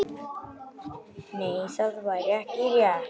Nei, það væri ekki rétt.